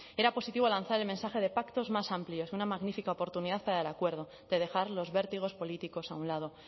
era positivo lanzar el mensaje de pactos más amplios una magnífica oportunidad para el acuerdo de dejar los vértigos políticos a un lado